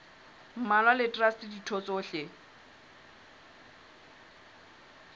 mmalwa le traste ditho tsohle